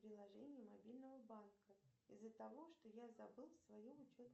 приложение мобильного банка из за того что я забыл свою учет